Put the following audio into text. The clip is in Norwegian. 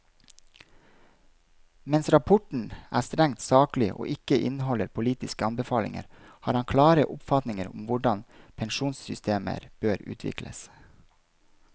Mens rapporten er strengt saklig og ikke inneholder politiske anbefalinger, har han klare oppfatninger om hvordan pensjonssystemer bør utvikles.